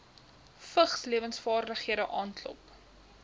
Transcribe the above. vigslewensvaardighede aanklop